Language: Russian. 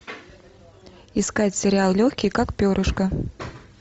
искать сериал легкий как перышко